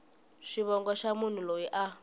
xivongo xa munhu loyi a